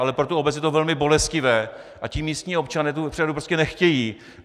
Ale pro tu obec je to velmi bolestivé, a ti místní občané tu přehradu prostě nechtějí.